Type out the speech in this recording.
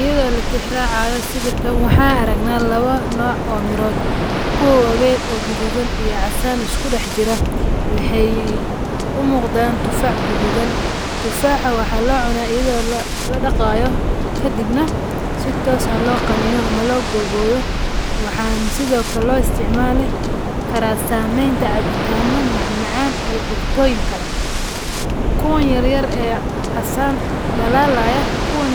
Iyadho latixi raacayo sawirkaan waxaa aragna lawa nocoo mirood kuwa waween oo gadhudhan iyo casan isku daxjira waxay umugdaan tufax gududan, tufax waxa loo cunaa ayadho ladagayo kadib na si tooso oo loganino ama loo gagoyo waxan sidho kale loo isticmale karaa sameeyn cabitaano macmacan iyo cututoyin kale. Kuwaan yaryar casaan dalalaya kuwan